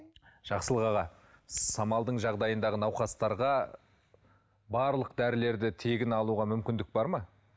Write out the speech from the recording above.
жақсылық аға самалдың жағдайындағы науқастарға барлық дәрілерді тегін алуға мүмкіндік бар ма